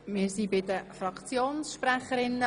Wir sind bei den Fraktionsvoten.